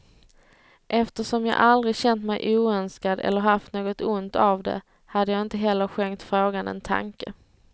Eftersom jag aldrig känt mej oönskad eller haft något ont av det, hade jag inte heller skänkt frågan en tanke.